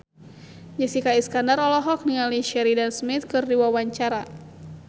Jessica Iskandar olohok ningali Sheridan Smith keur diwawancara